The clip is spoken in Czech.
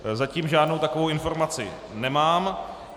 Zatím žádnou takovou informaci nemám.